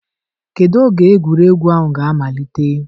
Kedu oge egwuregwu ahụ ga-amalite?